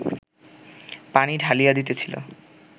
পানি ঢালিয়া দিতেছিল